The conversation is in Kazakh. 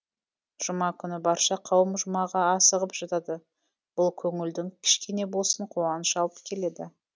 жұма күні барша қауым жұмаға асығып жатады бұл көңілдің кішкене болсын қуаныш алып келеді